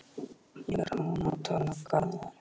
Ég verð að ná tali af Garðari.